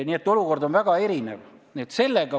Nii et olukord on väga erinev.